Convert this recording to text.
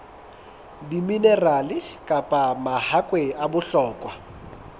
diminerale kapa mahakwe a bohlokwa